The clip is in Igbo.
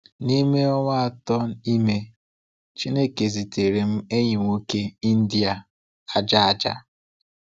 N’ime ọnwa atọ ime, Chineke zitere m enyi nwoke India aja aja.